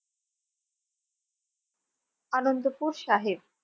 Anandpur Sahib.